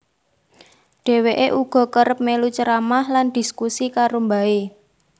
Dheweke uga kerep melu ceramah lan dhiskusi karo mbahe